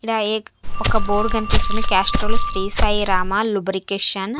ఈడ ఏక్-- ఒక బోర్డు కనిపిస్తుంది క్యాస్ట్రాల్ శ్రీ సాయి రామ లూబ్రికేషన్ .